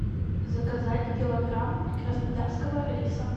заказать килограмм краснодарского риса